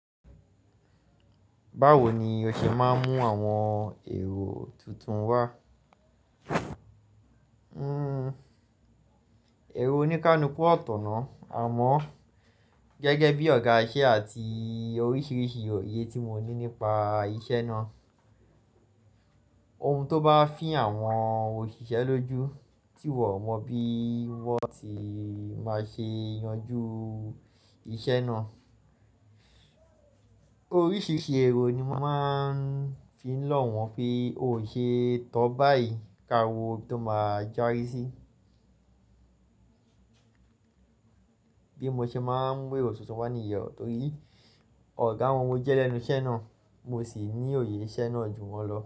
Báwo ni o ṣe máa ń mú àwọn èrò tuntun wá? Ërò oníkalukú ọ̀tọ̀ náà, àmọ́ gẹ́gẹ́ bí ọ̀gá iṣẹ́ àti oríṣiríṣi òye tí mo ní nípa iṣẹ́ náà. Ohun tó bá fín àwọn òṣìṣẹ́ lójú tí wọn o mọ̀ bí wọ́n ti máa ṣe yanjú iṣẹ́ náà. Oríṣiríṣi èrò ni mo máa ń fi lọ̀ wọ́n pé o ò ṣe é tọ́ báyìí ká wo bí tó máá jári sí i. Bí mo ṣe máa ń gbé èrò tuntun wá níyẹ́ o, torí ọ̀gá wọn mò jẹ́ lẹ́nu iṣẹ́ náà, mo sì ní òye iṣẹ́ náà ju wọn lọ.